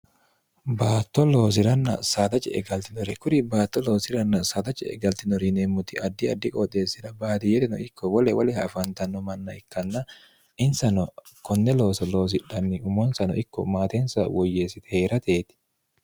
baatto loosiranna saadace egaltinore kuri baatto loosiranna saataci e galtinori niemmuti addi addi qooxeessina baadiyerino ikko wole woliha afaantanno manna ikkanna insano konne looso loosidhanni umonsano ikko maatensa woyyeessite hee'rateeti